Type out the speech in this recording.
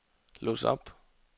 lås op